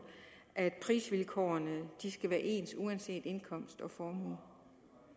at prisvilkårene skal være ens uanset indkomst og formue